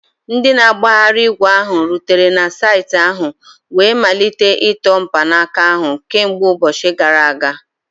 Ndị na-agbagharị ígwè ahụ rutere na saịtị ahụ wee malite ịtọ mkpanaka ahụ kemgbe ụbọchị gara aga